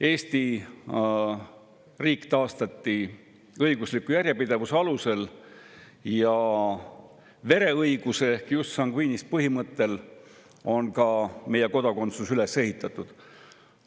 Eesti riik taastati õigusliku järjepidevuse alusel ja vereõiguse ehk jus sanguinis põhimõttel on ka meie kodakondsuse üles ehitatud.